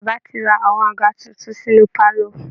Baba ti ra àwọn àga tuntun sínú pálọ̀